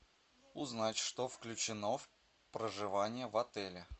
узнать что включено в проживание в отеле